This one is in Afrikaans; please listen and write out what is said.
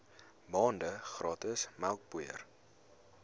maande gratis melkpoeier